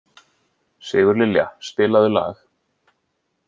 Sigurlilja, spilaðu lag.